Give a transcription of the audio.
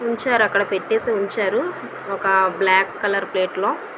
ఉంచారు అక్కడ పెట్టేసి ఉంచారు ఒక బ్లాక్ కలర్ ప్లేట్లో .